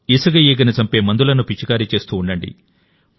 ఇసుక ఈగను చంపే మందులను పిచికారీ చేస్తూ ఉండండి